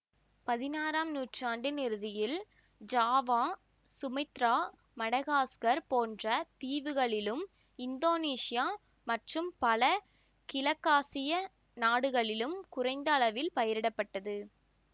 பதினாறாம் நூற்றாண்டின் இறுதியில் ஜாவா சுமித்திரா மடகாஸ்கர் போன்ற தீவுகளிலும் இந்தோனேசியா மற்றும் பல கிழக்காசிய நாடுகளிலும் குறைந்த அளவில் பயிரிடப்பட்டது